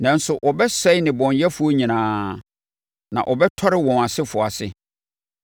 Nanso wɔbɛsɛe nnebɔneyɛfoɔ nyinaa; na wɔbɛtɔre wɔn asefoɔ ase.